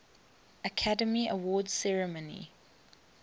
academy awards ceremony